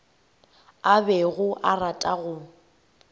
a bego a rata go